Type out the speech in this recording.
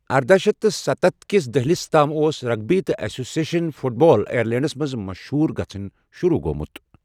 ارداہ شیتھ تہٕ ستتھ کِس دہلِس تام اوس رگبی تہٕ ایسوسییشن فٹ بال آیرلینڈس منٛز مشہوٗر گژھن شروٗع گوٚمُت۔